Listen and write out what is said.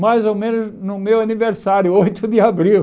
Mais ou menos no meu aniversário, oito de abril.